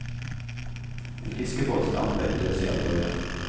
En fiskebåt stamper døsig av gårde.